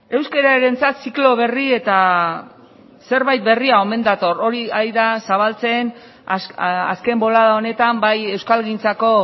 euskararentzat ziklo berri eta zerbait berria omen dator hori ari da zabaltzen azken bolada honetan bai euskalgintzako